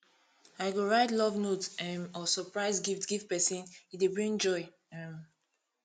i go write love note um or surprise gift give pesin e dey bring joy um